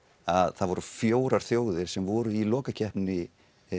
að það voru fjórar þjóðir sem voru í lokakeppninni